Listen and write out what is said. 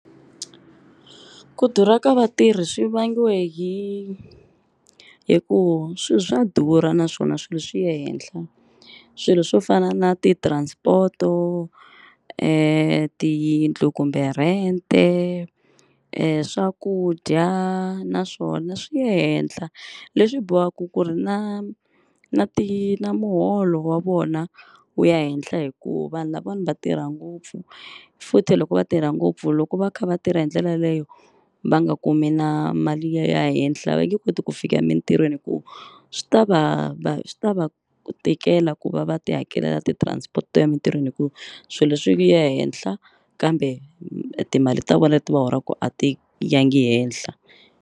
Ku durha ka vatirhi swi vangiwa hi hikuva swilo swa durha naswona swilo swi ya henhla swilo swo fana na ti-transport-o, tiyindlu kumbe rente, swakudya naswona swi ya henhla leswi bohaka ku ri na na ti na muholo wa vona wu ya henhla hikuva vanhu lavawani va tirha ngopfu, futhi loko va tirha ngopfu loko va kha va tirha hi ndlela yaleyo va nga kumi na mali yo ya henhla va nge koti ku fika emintirhweni hi ku swi ta va va swi ta va tikela ku va va ti hakelela ti-transport to emintirhweni hikuva swilo leswi swi ya henhla kambe timali ta vona leti va holaku a ti ya ngi henhla.